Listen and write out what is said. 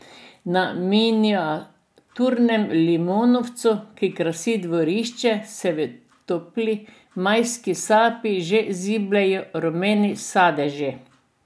Na miniaturnem limonovcu, ki krasi dvorišče, se v topli majski sapici že zibljejo rumeni sadeži.